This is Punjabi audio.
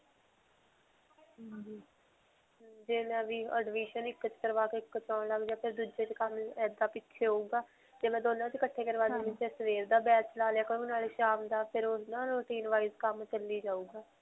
ਜੇ ਮੈਂ admission ਇੱਕ 'ਚ ਕਰਵਾ ਕੇ ਇੱਕ 'ਚ ਆਉਣ ਲੱਗ ਜਾਂ ਫਿਰ ਦੂਜੇ 'ਚ ਕੰਮ ਇੱਦਾਂ ਪਿੱਛੇ ਹੋਊਗਾ ਜੇ ਮੈਂ ਦੋਨਾਂ 'ਚ ਇਕੱਠੇ ਕਰਵਾ ਲੈਂਦੀ ਹਾਂ ਤਾਂ ਸਵੇਰ ਦਾ batch ਲਾ ਲਿਆ ਸ਼ਾਮ ਦਾ ਫਿਰ ਓਹ ਨਾ routine wise ਕੰਮ ਚੱਲੀ ਜਾਉਗਾ.